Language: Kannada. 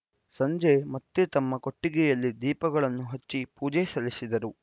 ಸಂಜೆ ಮತ್ತೆ ತಮ್ಮ ಕೊಟ್ಟಿಗೆಯಲ್ಲಿ ದೀಪಗಳನ್ನು ಹಚ್ಚಿ ಪೂಜೆ ಸಲ್ಲಿಸಿದರು